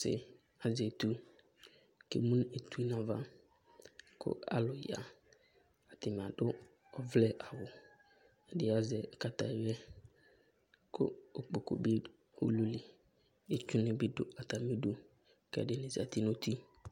Sdzaɛ azɛ etu k'emu n'itsu n'ava kʋ alʋ ya : ɛdɩnɩ adʋ ɔvlɛ awʋ , ɛdɩ azɛ kataya , kʋ ikpoku bɩ dʋ ulu li, itsunɩ bɩ dʋ atamidu , k'ɛdɩnɩ zati n'uti